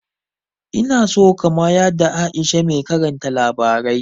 Ina so ka mayada Aisha mai karanta labarai